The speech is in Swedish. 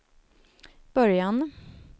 början